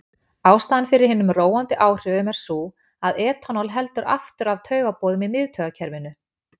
Ástæðan fyrir hinum róandi áhrifum er sú að etanól heldur aftur af taugaboðum í miðtaugakerfinu.